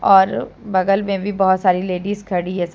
और बगल में भी बहोत सारी लेडीज खड़ी है सब--